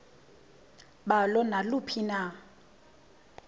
balo naluphi na